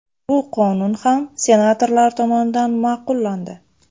Bu qonun ham senatorlar tomonidan ma’qullandi.